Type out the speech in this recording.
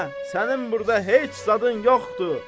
Sənin burda heç zadın yoxdur.